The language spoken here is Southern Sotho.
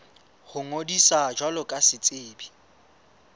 ho ngodisa jwalo ka setsebi